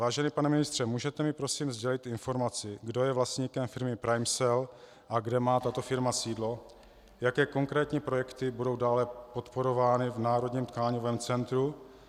Vážený pane ministře, můžete mi prosím sdělit informaci, kdo je vlastníkem firmy PrimeCell a kde má tato firma sídlo, jaké konkrétní projekty budou dále podporovány v Národním tkáňovém centru?